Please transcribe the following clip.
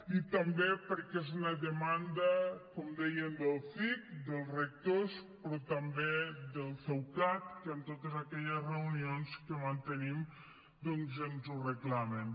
i també perquè és una demanda com dèiem del cic dels rectors però també del ceucat que en totes aquelles reunions que mantenim doncs ens ho reclamen